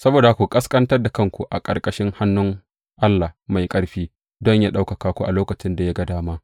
Saboda haka, ku ƙasƙantar da kanku a ƙarƙashin hannun Allah mai ƙarfi, don yă ɗaukaka ku a lokacin da ya ga dama.